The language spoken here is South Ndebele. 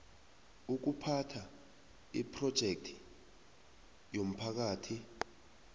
ukuphatha iphrojekthi yomphakathi